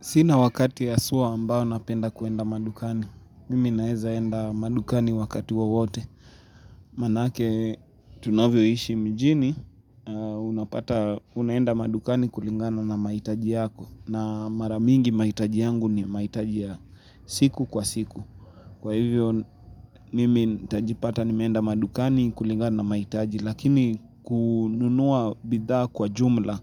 Sina wakati haswa ambao napenda kuenda madukani. Mimi naweza kwenda madukani wakati wowote. Manake tunavyoishi mjini, unapata, unaenda madukani kulingana na mahitaji yako. Na maramingi mahitaji yangu ni mahitaji ya siku kwa siku. Kwa hivyo, mimi nitajipata nimeenda madukani kulingana na mahitaji. Lakini kununua bidhaa kwa jumla.